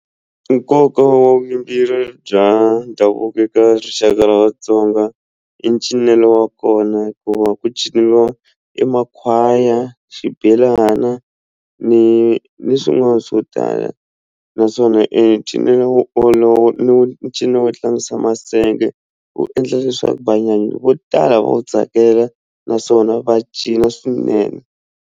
Nkoka wa bya ndhavuko eka rixaka ra Vatsonga i ncinelo wa kona hikuva ku ciniwa e makhwaya xibelana ni ni swin'wana swo tala naswona e cinelo wolowo i ncino wo tlangisa masenge wu endla leswaku vo tala va wu tsakela naswona va cina swinene.